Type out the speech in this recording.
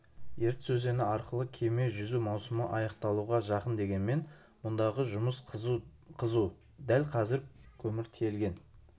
ертіс өзені арқылы кеме жүзу маусымы аяқталуға жақын дегенмен мұндағы жұмыс қызу дәл қазір көмір тиелген